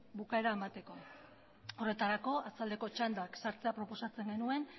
bukaera emateko horretarako arratsaldeko txandak sartzea proposatzen genuen